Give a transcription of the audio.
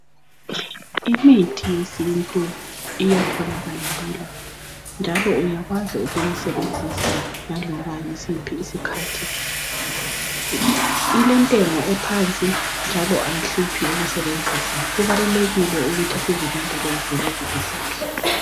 Imithi yesintu iyatholakala lula njalo uyakwazi ukuyisebenzIsa laloba yisiphi isikhathi .Ilentengo ephansi njalo ayihluphi ukusebenzisa . Kubalulekile ukuthi sizilondoloze lezi izihlahla.